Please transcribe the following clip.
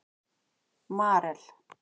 Marel